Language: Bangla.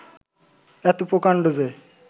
এত প্রকাণ্ড যে